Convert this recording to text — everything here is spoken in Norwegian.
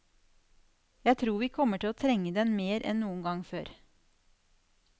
Jeg tror vi kommer til å trenge den mer enn noen gang før.